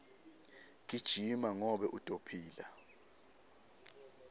gijima ngobe utophila